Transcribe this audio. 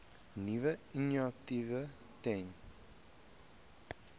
nuwe initiatiewe ten